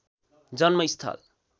जन्म स्थल